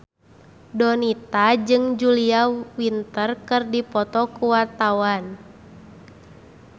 Donita jeung Julia Winter keur dipoto ku wartawan